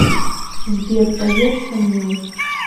сбер поешь со мной